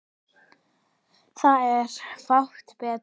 Það er fátt betra.